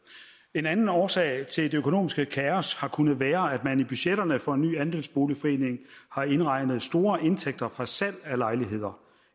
en anden årsag til det økonomiske kaos har kunnet være at man i budgetterne for en ny andelsboligforening har indregnet store indtægter fra salg af lejligheder